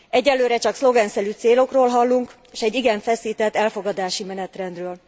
Egyenlőre csak szlogenszerű célokról hallunk, s egy igen feszített elfogadási menetrendről.